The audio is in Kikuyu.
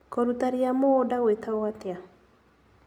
Kũruta ria mũgũnda gwĩtagwo atĩa?